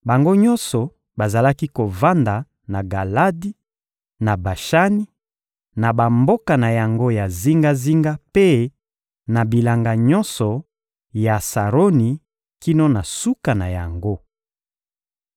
Bango nyonso bazalaki kovanda na Galadi, na Bashani, na bamboka na yango ya zingazinga mpe na bilanga nyonso ya Saroni kino na suka na yango.